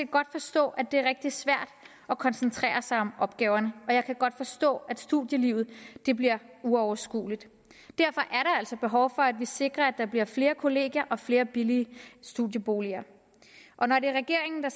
godt forstå at det er rigtig svært at koncentrere sig om opgaverne jeg kan godt forstå at studielivet bliver uoverskueligt derfor altså behov for at vi sikrer at der bliver flere kollegier og flere billige studieboliger og når det er regeringen der